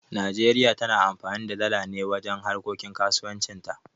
Nijeriya tana amfani da dala ne wajen harkokin kasuwanci ta